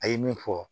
A ye min fɔ